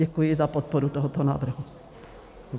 Děkuji za podporu tohoto návrhu.